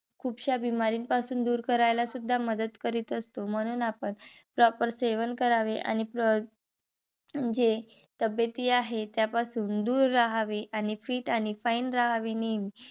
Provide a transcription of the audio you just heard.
खुपश्या पासून दूर करायला सूद्धा मदत करीत असते. म्हणून आपण proper सेवन करावे. आणि जे आहेत. त्यापासून दूर रहावे आणि fit आणि fine रहावे नेहमी.